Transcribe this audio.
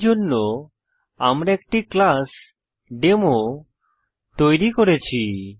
এইজন্য আমরা একটি ক্লাস demoতৈরী করেছি